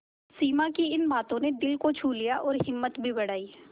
सिमा की इन बातों ने दिल को छू लिया और हिम्मत भी बढ़ाई